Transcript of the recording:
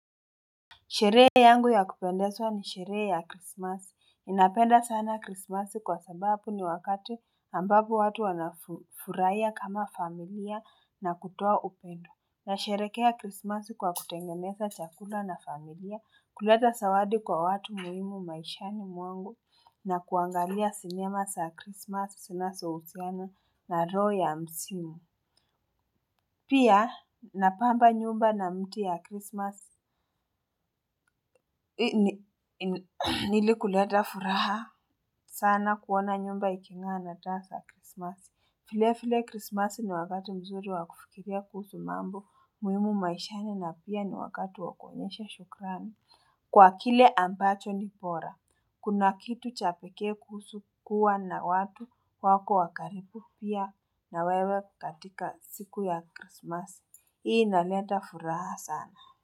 Sherehe yangu ya kupendezwa ni sherehe ya krismasi. Ninapenda sana Krismasi kwa sababu ni wakati ambapo watu wanafurahia kama familia na kutoa upendo. Nasherehekea krismasi kwa kutengeneza chakula na familia, kuleta zawadi kwa watu muhimu maishani mwangu na kuangalia sinema za krismasi zinazohusiano na roho ya msimu. Pia napamba nyumba na mti ya krismasi ili kuleta furaha sana kuona nyumba ikingaa na taa za krismasi. Vile vile krismasi ni wakati mzuri wa kufikiria kuhusu mambo muhimu maishani na pia ni wakati wa kuonyesha shukrani. Kwa kile ambacho ni bora, kuna kitu cha pekee kuhusu kuwa na watu wako wa karibu pia na wewe katika siku ya krismasi. Hii inaleta furaha sana.